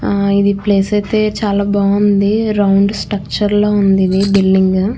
ఇది ప్లేస్ అయతే చాలా బాగుంది రౌండ్ స్ట్రక్చర్ లో వుంది బిల్డింగ్ .